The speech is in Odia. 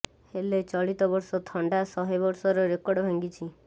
ହେଲେ ଚଳିତ ବର୍ଷ ଥଣ୍ଡା ଶହେ ବର୍ଷର ରେକର୍ଡ ଭାଙ୍ଗିଛି